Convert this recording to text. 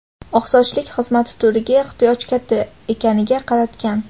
oqsochlik xizmat turiga ehtiyoj katta ekaniga qaratgan.